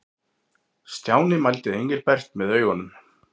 Stjáni mældi Engilbert með augunum.